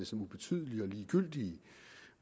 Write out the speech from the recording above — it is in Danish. som ubetydelige og ligegyldige